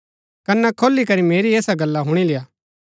कन्‍ना खोली करी मेरी ऐसा गल्ला हुणी लेय्आ